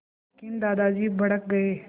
लेकिन दादाजी भड़क गए